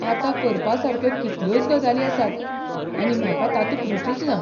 आतां करपासारक्यो कितल्योच गजाली आसात आनी म्हाका तातूंत रूचूच ना.